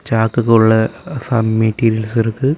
சாக்குக்குள்ள some materials இருக்கு.